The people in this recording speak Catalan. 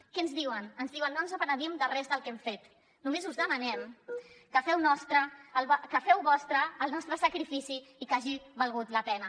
què ens diuen ens diuen no ens penedim de res del que hem fet només us demanem que feu vostre el nostre sacrifici i que hagi valgut la pena